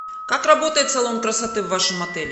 как работает салон красоты в вашем отеле